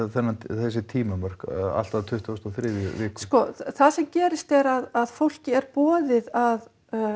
þessi tímamörk allt að tuttugustu og þriðju viku það sem gerist er að fólki er boðið að